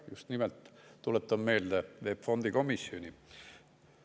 Tuletan meelde just nimelt VEB Fondi komisjoni.